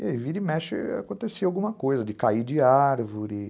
E aí, vira e mexe, acontecia alguma coisa, de cair de árvore.